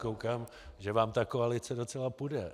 Koukám, že vám ta koalice docela půjde.